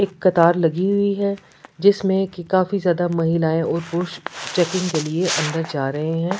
एक कतार लगी हुई है जिसमें की काफी ज्यादा महिलाएं और पुरुष चेकिंग के लिए अंदर जा रहे हैं।